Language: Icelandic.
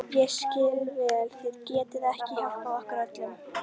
Ég skil vel að þið getið ekki hjálpað okkur öllum.